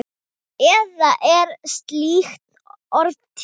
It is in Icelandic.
Eða er slíkt orð til?